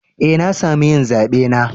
Eh, na samu yin zabe na.